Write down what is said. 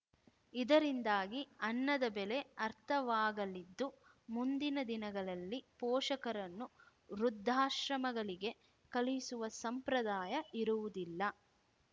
ಇದರಿಂದಾಗಿ ಅನ್ನದ ಬೆಲೆ ಅರ್ಥವಾಗಲಿದ್ದು ಮುಂದಿನ ದಿನಗಳಲ್ಲಿ ಪೋಷಕರನ್ನು ವೃದ್ಧಾಶ್ರಮಗಳಿಗೆ ಕಳುಹಿಸುವ ಸಂಪ್ರದಾಯ ಇರುವುದಿಲ್ಲ